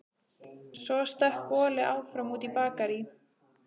Svo stökk boli áfram út í Bakarí.